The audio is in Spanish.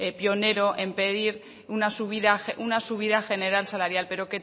pionero en pedir una subida una subida general salarial pero